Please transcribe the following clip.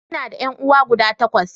Ina da ƴan'uwa guda takwas.